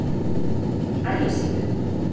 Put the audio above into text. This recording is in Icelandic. Ægissíðu